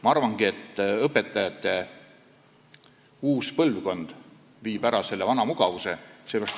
Ma arvan, et õpetajate uus põlvkond viib selle vana mugavuse ära.